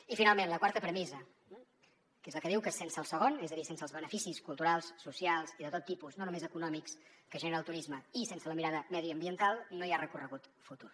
i finalment la quarta premissa que és la que diu que sense el segon és a dir sense els beneficis culturals socials i de tot tipus no només econòmics que genera el turisme i sense la mirada mediambiental no hi ha recorregut futur